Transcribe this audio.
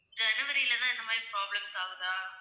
ஜனவரில தான் இந்த மாதிரி problems ஆகுதா?